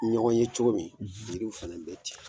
Ɲɔgɔn ye cogo min yiriw fana bɛ ten.